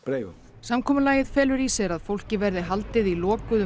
samkomulagið felur í sér að fólki verði haldið í lokuðum